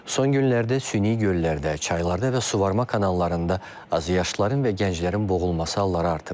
Son günlərdə süni göllərdə, çaylarda və suvarma kanallarında azyaşlıların və gənclərin boğulması halları artıb.